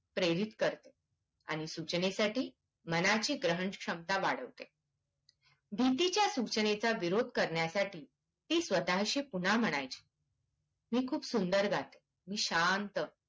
प्रेरित करते आणि सूचनेसाठी मनाची ग्रहण क्षमता वाढवते भीतीच्या सूचनेचा विरोध करण्यासाठी ती स्वतशी पुन्हा म्हणयची मी खूप सुंदर गाते मी शांत